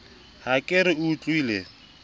ha ke re o utlwile